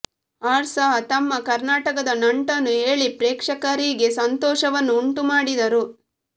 R ಸಹ ತಮ್ಮ ಕರ್ನಾಟಕದ ನಂಟನ್ನು ಹೇಳಿ ಪ್ರೇಕ್ಷಕಕರಿಗೆ ಸಂತೋಷವನ್ನು ಉಂಟುಮಾಡಿದರು